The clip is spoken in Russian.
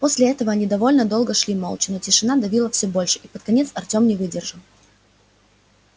после этого они довольно долго шли молча но тишина давила все больше и под конец артем не выдержал